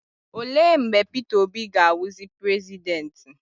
Olee mgbe Peter Obi ga-awụ prezidenti?